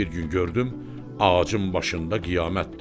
Bir gün gördüm ağacın başında qiyamətdir.